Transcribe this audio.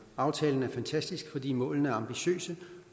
aftalen er fantastisk fordi målene er ambitiøse